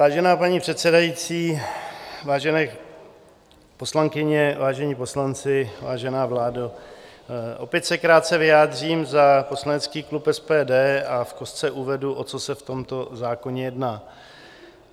Vážená paní předsedající, vážené poslankyně, vážení poslanci, vážená vládo, opět se krátce vyjádřím za poslanecký klub SPD a v kostce uvedu, o co se v tomto zákoně jedná.